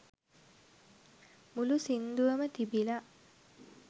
මුලු සින්දුවම තිබිල